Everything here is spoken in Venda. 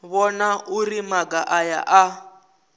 vhona uri maga aya a